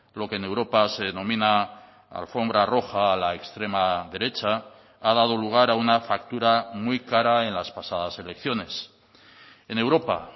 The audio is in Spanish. lo que en europa se denomina alfombra roja a la extrema derecha ha dado lugar a una factura muy cara en las pasadas elecciones en europa